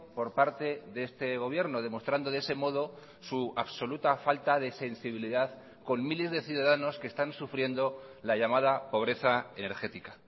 por parte de este gobierno demostrando de ese modo su absoluta falta de sensibilidad con miles de ciudadanos que están sufriendo la llamada pobreza energética